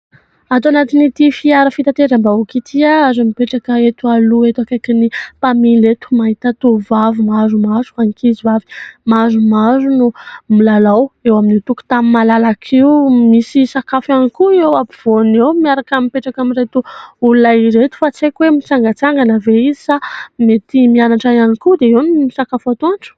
Ato anatin'ity fiara fitateram-bahoaka ity ary mipetraka eto aloha eto akaiky ny mpamily eto : mahita tovovavy maromaro, ankizivavy maromaro no milalao eo amin'io tokotan'ny malalaka io. Misy sakafo ihany koa eo ampovoana eo miaraka mipetraka amin'ireto olona ireto fa tsy haiko hoe mitsangatsangana ve izy sa mety mianatra ihany koa dia eo no misakafo atoandro ?